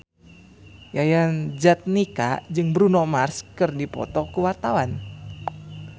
Yayan Jatnika jeung Bruno Mars keur dipoto ku wartawan